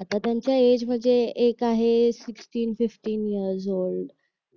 आता त्यांच्या इज मध्ये एक आहे फिफ्टीन फिफ्टीन इयर्स ओल्ड